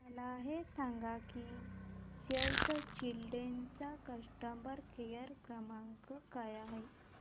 मला हे सांग की सेव्ह द चिल्ड्रेन चा कस्टमर केअर क्रमांक काय आहे